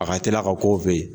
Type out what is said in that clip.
A ka teli a ka ko fɛ yen.